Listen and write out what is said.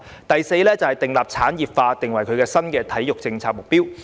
第四，將產業化訂為新的體育政策目標。